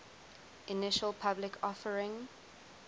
initial public offering